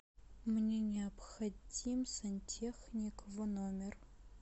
мне необходим сантехник в номер